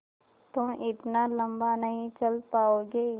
तुम इतना लम्बा नहीं चल पाओगे